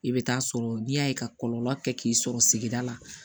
I bɛ taa sɔrɔ n'i y'a ye ka kɔlɔlɔ kɛ k'i sɔrɔ sigida la